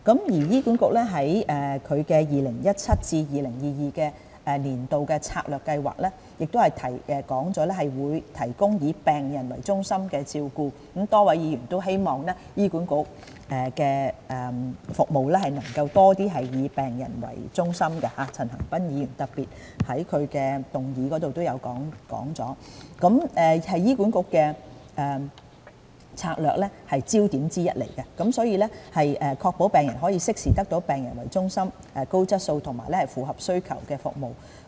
醫管局在《2017至2022年策略計劃》中提到"提供以病人為中心的照顧"——多位議員皆希望醫管局的服務能夠多以病人為中心，陳恒鑌議員更特別在其議案提及這點——這是醫管局的策略焦點之一，目的是確保病人可適時得到以病人作為中心、高質素和符合需求的服務。